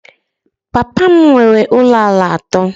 Papa m nwere ụlọ ala atọ